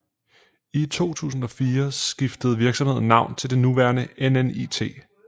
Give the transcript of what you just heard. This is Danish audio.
I 2004 skiftede virksomheden navn til det nuværende NNIT